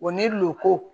ni lukolon